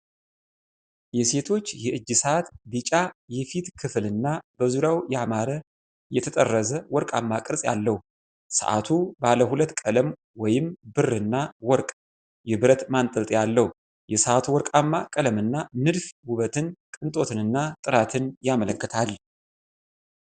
የሴቶች የእጅ ሰዓት ቢጫ የፊት ክፍልና በዙሪያው ያማረ የተጠረዘ ወርቃማ ቅርጽ አለው። ሰዓቱ ባለ ሁለት ቀለም (ብርና ወርቅ) የብረት ማንጠልጠያ አለው። የሰዓቱ ወርቅማ ቀለምና ንድፍ ውበትን፣ ቅንጦትንና ጥራትን ያመለክታል።